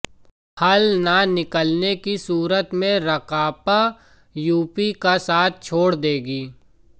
हल न निकलने की सूरत में राकांपा यूपीए का साथ छोड़ देगी